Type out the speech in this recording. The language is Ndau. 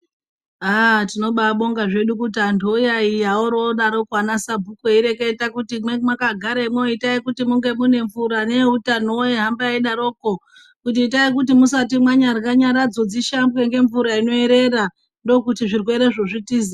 Aaa tinobabonga zvedu kuti antu oyaiya orodaroko anasabhuku eireketa kuti mweyi mwakagaremwo itai kuti munge mune mvura neeutanowo ohamba eidaroko kuti itai kuti musati mwanyara nyaradzo dzishambwe ngemvura inoerera ndokuti zvirwerezvo zvitize.